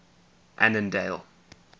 annandale